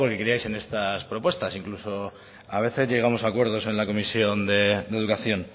porque creíais en estas propuestas incluso a veces llegamos a acuerdos en la comisión de educación